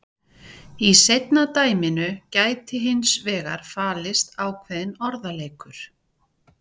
Í seinna dæminu gæti hins vegar falist ákveðinn orðaleikur.